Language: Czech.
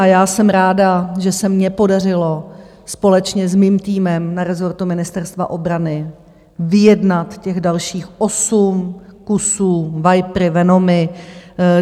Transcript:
A já jsem ráda, že se mně podařilo společně s mým týmem na rezortu Ministerstva obrany vyjednat těch dalších 8 kusů, Vipery, Venomy.